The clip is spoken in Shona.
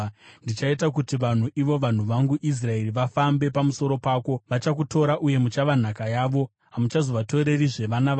Ndichaita kuti vanhu, ivo vanhu vangu Israeri, vafambe pamusoro pako. Vachakutora uye muchava nhaka yavo; hamuchazovatorerizve vana vavo.